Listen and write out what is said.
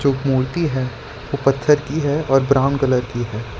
एक मूर्ति है वो पत्थर की है और ब्राउन कलर की है।